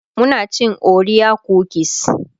muna cin orea kukis